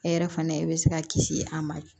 E yɛrɛ fana bɛ se ka kisi a ma